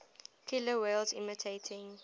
killer whales imitating